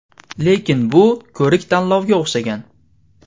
Lekin bu ko‘rik-tanlovga o‘xshagan.